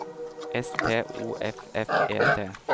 S T O F F E T